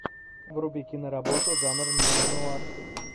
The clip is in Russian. вруби киноработу жанр неонуар